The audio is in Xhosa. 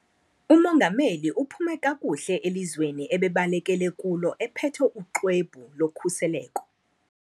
Umongameli uphume kakuhle elizweni ebebalekele kulo ephethe uxwebhu lokhuseleko.